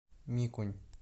микунь